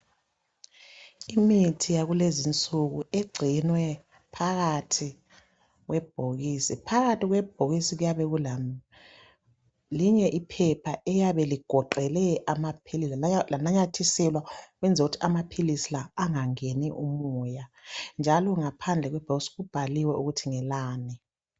imithi yakulezi insuku icinwe phakathi kwebhokisi phakathi kwebhokisi kuyabe kule linye iphepha eliyabe ligoqhe amaphilisi lanamathiselwa ukwenzela ukuthi amaphilisi la angangeni umoya njalo ngaphanje kwebhokisi kubhaliwe ukuthi ngelani